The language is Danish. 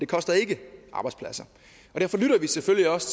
koster ikke arbejdspladser og derfor lytter vi selvfølgelig også